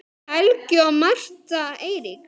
Helgi og Martha Eiríks.